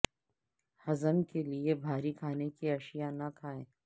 ہضم کے لئے بھاری کھانے کی اشیاء نہ کھائیں